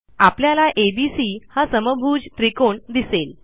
आपल्याला एबीसी हा समभुज त्रिकोण दिसेल